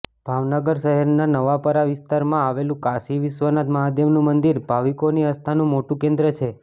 ભાવનગર શહેરના નવાપરા વિસ્તારમાં આવેલું કાશી વિશ્વનાથ મહાદેવનું મંદિર ભાવિકોની આસ્થાનું મોટું કેન્દ્ર છે